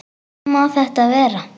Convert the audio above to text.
Hvernig má þetta vera?